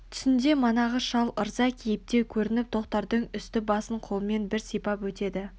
түсінде манағы шал ырза кейіпте көрініп тоқтардың үсті-басын қолмен бір сипап өтеді